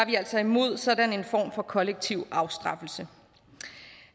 vi altså imod sådan en form for kollektiv afstraffelse